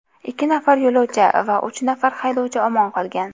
Ikki nafar yo‘lovchi va uch nafar haydovchi omon qolgan.